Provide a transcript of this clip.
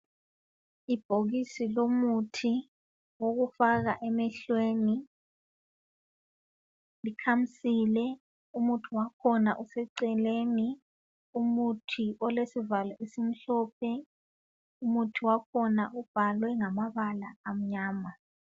Ibhokisi lomuthi wokufaka emehlweni likhamisile umuthi wakhona useceleni, umuthi olesivalo esimhlophe, umuthi wakhona ubhalwe ngamabala amnyama.